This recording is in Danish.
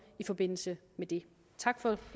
i forbindelse med det tak for